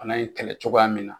fana ye kɛlɛ cogoya min na.